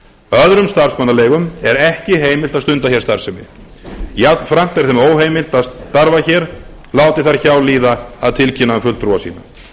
öðrum starfsmannaleigum er ekki heimilt að stunda hér starfsemi jafnframt er þeim óheimilt að starfa hér láti þær hjá líða að tilkynna um fulltrúa sinn